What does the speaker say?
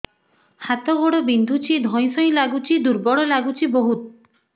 ହାତ ଗୋଡ ବିନ୍ଧୁଛି ଧଇଁସଇଁ ଲାଗୁଚି ଦୁର୍ବଳ ଲାଗୁଚି ବହୁତ